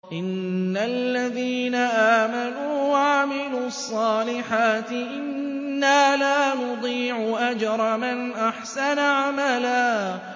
إِنَّ الَّذِينَ آمَنُوا وَعَمِلُوا الصَّالِحَاتِ إِنَّا لَا نُضِيعُ أَجْرَ مَنْ أَحْسَنَ عَمَلًا